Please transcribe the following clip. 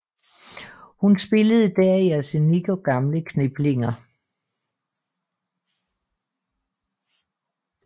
Hun spillede der i Arsenik og gamle kniplinger